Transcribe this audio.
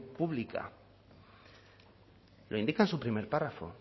pública lo indica en su primer párrafo